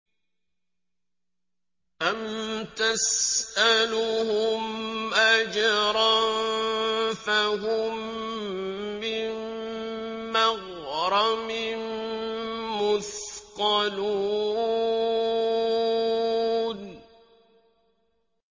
أَمْ تَسْأَلُهُمْ أَجْرًا فَهُم مِّن مَّغْرَمٍ مُّثْقَلُونَ